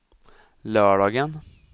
lördagen